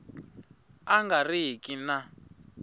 a nga ri ki na